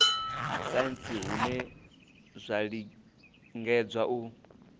saintsi hune zwa lingedza u